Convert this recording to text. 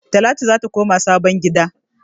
Talatu zata koma sabon gida